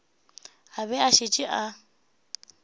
a bego a šetše a